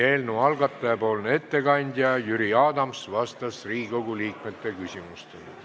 Eelnõu algataja ettekandja Jüri Adams vastas Riigikogu liikmete küsimustele.